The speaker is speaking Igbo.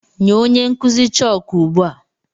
Nye onye nkụzi chọọkụ ugbu a!